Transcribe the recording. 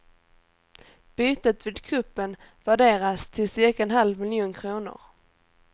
Bytet vid kuppen värderas till cirka en halv miljon kronor.